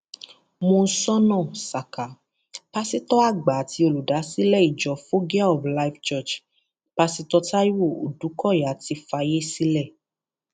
monsónà saka pásítọ àgbà àti olùdásílẹ ìjọ foggia of life church pásítọ táìwo òdùkọyà ti fàyè sílẹ